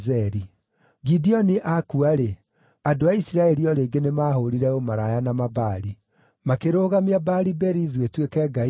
Gideoni akua-rĩ, andũ a Isiraeli o rĩngĩ nĩmahũũrire ũmaraya na Mabaali. Makĩrũgamia Baali-Berithu ĩtuĩke ngai yao,